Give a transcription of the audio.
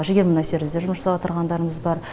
жігер мұнай сервизде жұмыс жасап отырғандарымыз бар